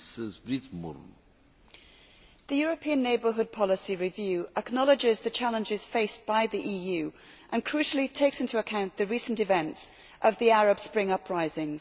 Mr President, the European neighbourhood policy review acknowledges the challenges faced by the EU and crucially takes into account the recent events of the Arab Spring uprisings.